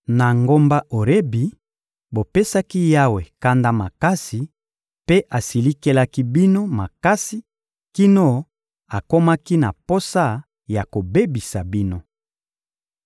Na ngomba Orebi, bopesaki Yawe kanda makasi mpe asilikelaki bino makasi kino akomaki na posa ya kobebisa bino.